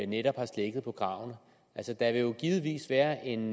netop har slækket på kravene altså der vil jo givetvis være en